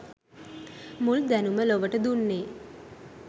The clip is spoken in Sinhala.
මුල් දැනුම ලොවට දුන්නේ